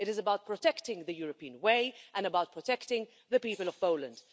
It is about protecting the European way and about protecting the people of Poland.